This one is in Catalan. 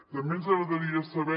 també ens agradaria saber